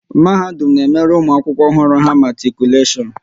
Mahadum na emere ụmụ akwụkwọ ọhụrụ ha matikuleshon